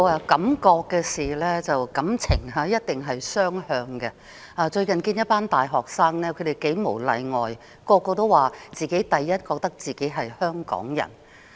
感覺和感情一定是雙向的，我最近接見一群大學生，他們無一例外地認為自己是香港人。